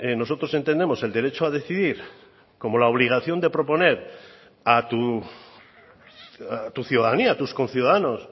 nosotros entendemos el derecho a decidir como la obligación de proponer a tu ciudadanía a tus conciudadanos